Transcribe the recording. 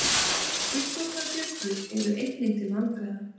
fullorðnar bjöllur eru einnig til vandræða